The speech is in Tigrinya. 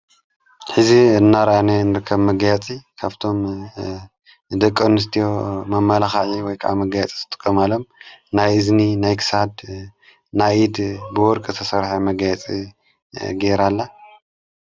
ሕዚ እናራኣነ ንርከብ መጋየጺ ከፍቶም ደቂ ኣንስትዮ መመላክዒ ወይከዓ መጋየጺ ዝጥቀማሎም ናይ እዝኒ ናይ ክሳድ ናይኢድ ብወርቂ ዝተሠርሐ መጋየጺ ገይራላ።